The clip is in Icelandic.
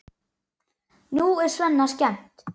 Nú er Svenna skemmt.